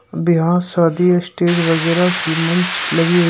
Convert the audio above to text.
बियाह शादी स्टेज वगैरा की मंच लगी हुई है।